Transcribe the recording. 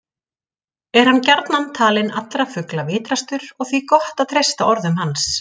Er hann gjarnan talinn allra fugla vitrastur og því gott að treysta orðum hans.